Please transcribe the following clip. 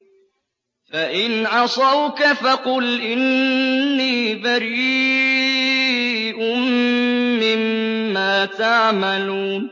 فَإِنْ عَصَوْكَ فَقُلْ إِنِّي بَرِيءٌ مِّمَّا تَعْمَلُونَ